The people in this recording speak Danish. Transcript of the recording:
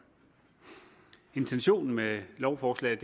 intentionen med lovforslaget